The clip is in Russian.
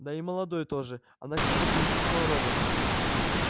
да и молодой тоже она как будто не слышала робота